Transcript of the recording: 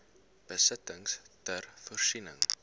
besittings ter voorsiening